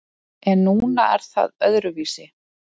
En núna er það öðruvísi.